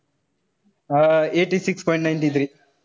Uh eighty six point ninety three.